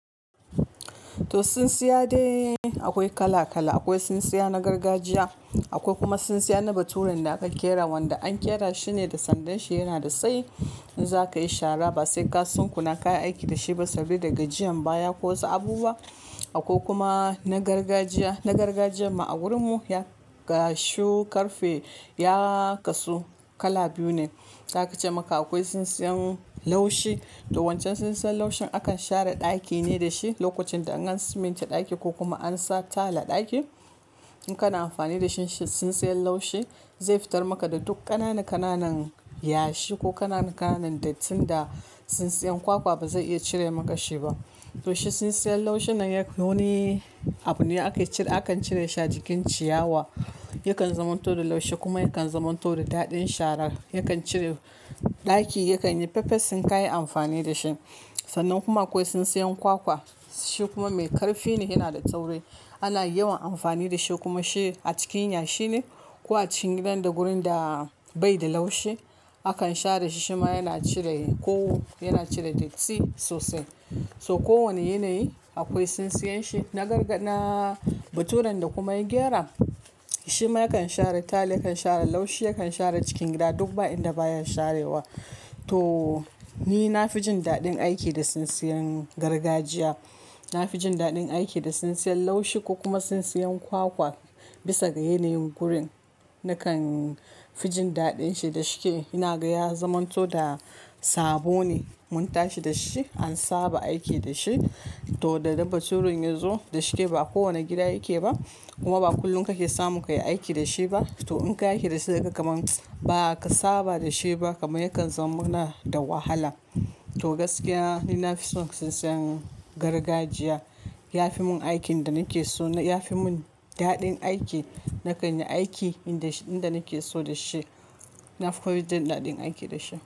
To sunsiya dai aƙwai kala kala. Aƙwai tsintsiya na gargajiya aƙwai kuma tsintsiya na baturan da aka kera wanda an kera shine da sandanshi yanada tsayi. In za kayi shara ba sai ka sunkuna kayi aiki dashi ba sabida gajiyan baya ko wasu abubuwa. Aƙwai kuma na gargajiya, na gargajiyar ma a gurin mu ya gashu karfe, ya kasu kala biyu ne. Za ka ce maka akwai tsintsiyan laushi to wancan tsintsiyan laushin akan share ɗaki ne da shi. Lokacin da in an siminte ɗaki ko kuma in ansa tile a ɗakin. In kana amfani da shi, shi tsintsiyan laushi zai fitar maka da duk ƙanana-ƙananan yashi ko ƙanana-ƙananan dattin da tsintsiyan kwakwa ba zai iya cire maka shi ba. To shi tsintsiyan laushin nan yayi wani abu ne ake cire, akan cire shi a jikin ciyawa. Yakan zamanto da laushi kuma yakan zamanto da daɗin shara. Yakan cire, ɗaki yakan yi fefes in ka yi amfani da shi. Sannan kuma akwai tsintsiyan kwakwa shi kuma mai ƙarfi ne yana da tauri ana yawan amfani da shi kuma shi a cikin yashi ne ko a cikin gidan da gurin da bai da laushi. Akan share shi shima yana cire kowa yana cire datti sosai. To kowanne yanayi akwai tsintsiyan shi. Na garga, na baturan da kuma ya gyara shi ma yakan share tile yakan share laushi yakan share cikin gida duk ba inda baya sharewa. To ni na fi jin daɗin aiki da tsintsiyan gargajiya. Na fi jin daɗin aiki da tsintsiyan laushi ko kuma tsintsiyan kwakwa bisa ga yanayin gurin. Nakan fi jin daɗin shi da shike ina ga ya zamanto da sabo ne mun tashi da shi an saba aiki dashi. To da ma baturen ya zo da shike ba a kowanne gida yake ba kuma ba kullum kake samu kai aiki da shi ba. To in kai aiki da shi sai ka ga kaman ba ka saba da shi ba kamar yakan zaman mana da wahala. To gaskiya ni na fi son tsintsiyan gargajiya. Ya fi mun aikin da nake so na. Ya fi mun daɗin aiki nakan yi aiki inda sh-- inda nake so da shi. Na fi koyi jin daɗin aiki da shi.